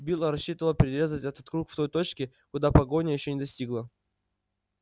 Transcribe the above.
билл рассчитывал перерезать этот круг в той точке куда погоня ещё не достигла